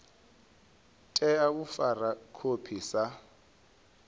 tea u fara khophi sa